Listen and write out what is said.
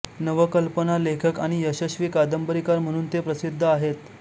नवकल्पना लेखक आणि यशस्वी कादंबरीकार म्हणून ते प्रसिद्ध आहेत